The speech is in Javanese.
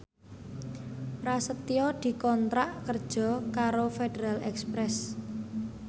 Prasetyo dikontrak kerja karo Federal Express